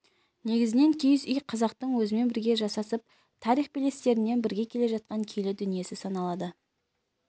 негізінен киіз үй қазақтың өзімен бірге жасасып тарих белестерінен бірге келе жатқан киелі дүниесі саналады